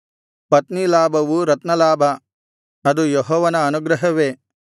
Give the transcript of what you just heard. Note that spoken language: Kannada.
ಪತ್ನಿಲಾಭವು ರತ್ನಲಾಭ ಅದು ಯೆಹೋವನ ಅನುಗ್ರಹವೇ